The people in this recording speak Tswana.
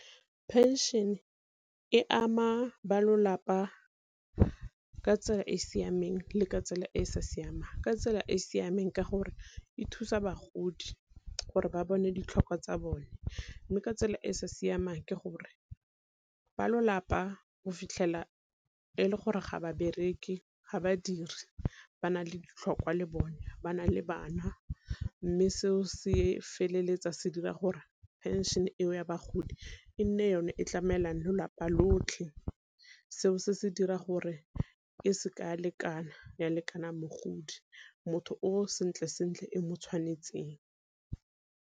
Pension e ama ba ka tsela e e siameng le ka tsela e e sa siamang, ka tsela e e siameng ka gore e thusa bagodi gore ba bone ditlhokwa tsa bone, mme ka tsela e e sa siamang ke gore ba go fitlhela e le gore ga babereke ga badiri ba na le ditlhokwa le bone ba na le bana. Mme seo se feleletsa se dira gore pension e ya bagodi e nne yone e tlamelang lotlhe, seo se se dira gore e seke ya lekana ya lekana mogodi motho o sentle sentle e mo tshwanetseng.